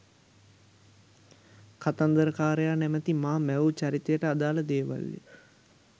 කතන්දරකාරයා නමැති මා මැවූ චරිතයට අදාල දේවල්ය.